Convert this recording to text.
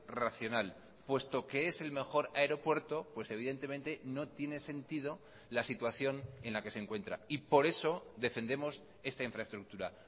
racional puesto que es el mejor aeropuerto pues evidentemente no tiene sentido la situación en la que se encuentra y por eso defendemos esta infraestructura